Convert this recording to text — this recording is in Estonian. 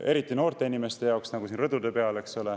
Eriti noorte inimeste jaoks, nagu siin rõdude peal, eks ole.